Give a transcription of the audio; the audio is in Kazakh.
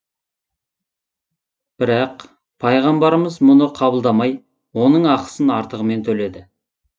бірақ пайғамбарымыз мұны қабылдамай оның ақысын артығымен төледі